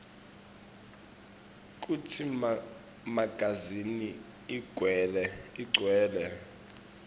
kutsi magazini ugcwele